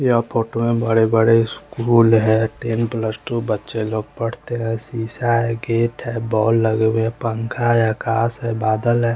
यह फोटो में बड़े बड़े स्कूल है टेन प्लस टू बच्चे लोग पढ़ते है शीशा है गेट है बॉल लगे हुए है पंखा है घास है बदल है।